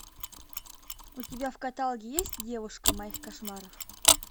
у тебя в каталоге есть девушка моих кошмаров